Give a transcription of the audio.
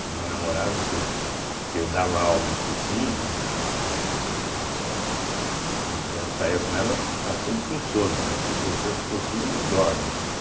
Tinha uma namorada que que eu dava aula em cursinho, né, e chi e quando saía com ela, estava sempre com sono, né, porque o professor de cursinho não dorme.